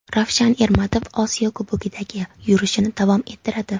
Ravshan Ermatov Osiyo Kubogidagi yurishini davom ettiradi.